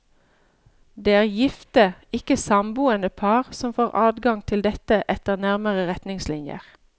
Det er gifte, ikke samboende par som får adgang til dette etter nærmere retningslinjer.